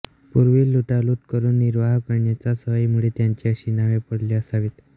पूर्वी लुटालूट करून निर्वाह करण्याच्या सवयीमुळे त्यांची अशी नावे पडली असावीत